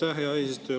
Aitäh, hea eesistuja!